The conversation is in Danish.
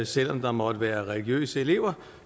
selv om der måtte være religiøse elever